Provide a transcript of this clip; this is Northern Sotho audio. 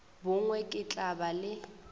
bongwe ke tla ba le